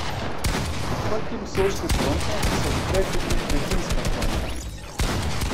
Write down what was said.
Z odprtjem soške fronte se odpre tudi begunska fronta.